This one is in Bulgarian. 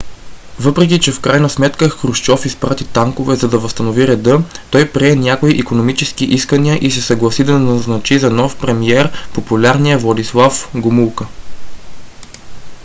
въпреки че в крайна сметка хрушчов изпрати танкове за да възстанови реда той прие някои икономически искания и се съгласи да назначи за нов премиер популярния владислав гомулка